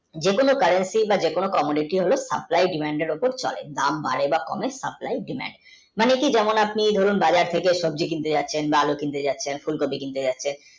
যেকোনো